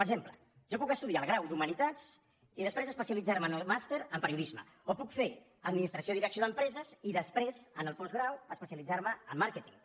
per exemple jo puc estudiar el grau d’humanitats i després especialitzar me en el màster en periodisme o puc fer administració i direcció d’empreses i després en el postgrau especialitzar me en màrqueting